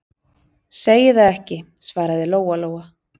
Segi það ekki, svaraði Lóa-Lóa.